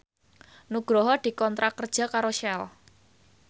Nugroho dikontrak kerja karo Shell